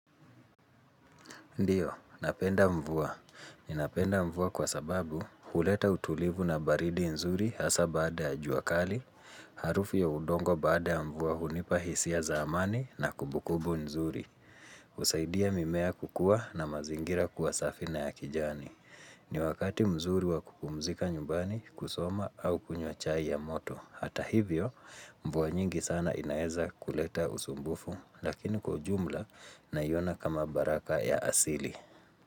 Ndiyo, napenda mvua. Ninapenda mvua kwa sababu kuleta utulivu na baridi nzuri hasa baada ya juakali, harufu ya udongo baada ya mvua hunipa hisia zaamani na kubukubu nzuri. Usaidia mimea kukua na mazingira kuwasafi na ya kijani. Ni wakati mzuri wa kupumzika nyumbani kusoma au kunywa chai ya moto. Hata hivyo mvuwa nyingi sana inaeza kuleta usumbufu lakini kwaujumla nayona kama baraka ya asili.